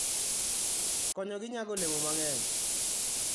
Konyogi nyago olemo mang'eny.